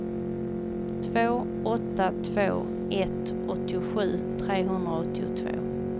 två åtta två ett åttiosju trehundraåttiotvå